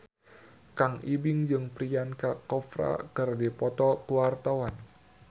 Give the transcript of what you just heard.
Kang Ibing jeung Priyanka Chopra keur dipoto ku wartawan